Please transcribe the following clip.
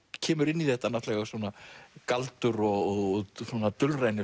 kemur inn í þetta galdur og svona